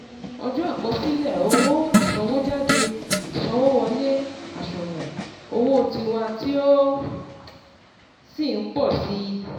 ọjọ́ àkosile owo ìsanwójádé ìsanwówọlé àṣùwọ̀n owó tiwa tí ó sì n pọ̀ sí i